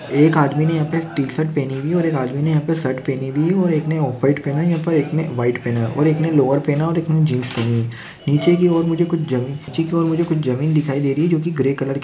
एक आदमी ने यहाँ पे टी-शर्ट पहनी हुई है और एक आदमी ने यहाँ पे शर्ट पहनी हुई है और एक ने ऑफ व्हाइट पहना है और एक ने व्हाइट पहना है एक ने लोअर पहना है और एक ने जीन्स पहनी है नीचे की ओर मुझे कुछ जमी नीचे की ओर मुझे कुछ जमीन दिखाई दे री है जो कि ग्रे कलर की --